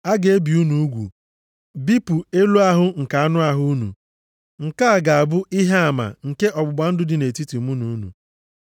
A ga-ebi unu ugwu, bipụ elu ahụ nke anụ ahụ unu. Nke a ga-abụ ihe ama nke ọgbụgba ndụ dị nʼetiti mụ na unu.